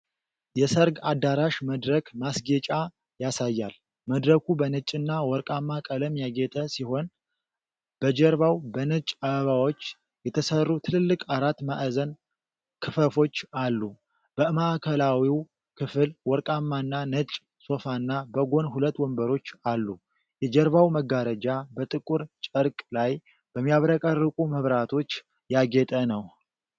የሰርግ አዳራሽ መድረክ ማስጌጫ ያሳያል። መድረኩ በነጭና ወርቃማ ቀለም ያጌጠ ሲሆን፤ በጀርባው በነጭ አበባዎች የተሠሩ ትልልቅ አራት ማዕዘን ክፈፎች አሉ። በማዕከላዊው ክፍል ወርቃማና ነጭ ሶፋና በጎን ሁለት ወንበሮች አሉ። የጀርባው መጋረጃ በጥቁር ጨርቅ ላይ በሚያብረቀርቁ መብራቶች ያጌጠ ነው።